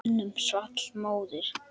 Mönnum svall móður.